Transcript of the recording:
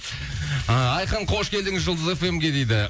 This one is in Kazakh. ыыы айқын қош келдіңіз жұлдыз эф эм ге дейді